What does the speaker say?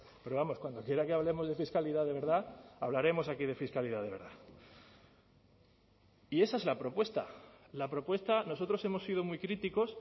pero vamos cuando quiera que hablemos de fiscalidad de verdad hablaremos aquí de fiscalidad de verdad y esa es la propuesta la propuesta nosotros hemos sido muy críticos